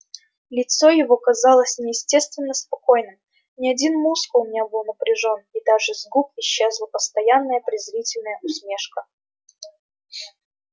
лицо его казалось неестественно спокойным ни один мускул не был напряжён и даже с губ исчезла постоянная презрительная усмешка